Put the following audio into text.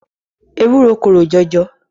Ewúro korò jọjọ.